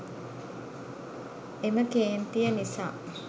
එම කේන්තිය නිසා